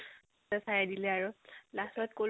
তাৰ পিছত চাই দিলে আৰু last ত কলো